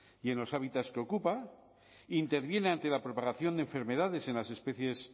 y en los hábitats que ocupa interviene ante la propagación de enfermedades en las especies